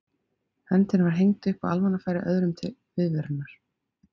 Höndin var hengd upp á almannafæri öðrum til viðvörunar.